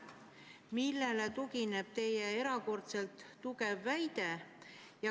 Millele tugineb see erakordselt kindel väide?